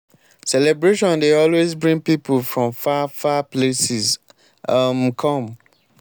celebration dey always bring pipu from far far places um come.